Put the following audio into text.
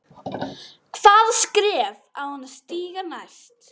Hvaða skref á hann að stíga næst?